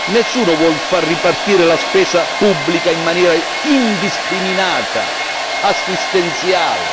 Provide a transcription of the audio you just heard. Nessuno vuole far ripartire la spesa pubblica in maniera indiscriminata, assistenziale.